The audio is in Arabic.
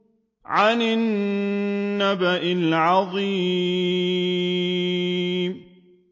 عَنِ النَّبَإِ الْعَظِيمِ